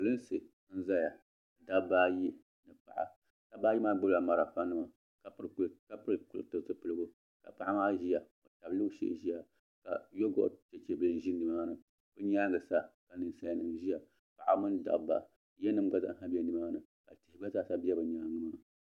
Prinsi n-zaya dabba ayi ni paɤa dabba ayi maa gbubila malifanima ka pili zupiligu ka paɤa maa ʒiya ka loori shɛli ʒiya ka yoogɔti Chechen bili ʒe nimaani bɛ nyaaŋa sa ninsalinima n-ʒiya Paɤiba mini dabba yanima gba zaa sa be nimaani ka tihi gba zaa sa be bɛ nyaaŋa maa.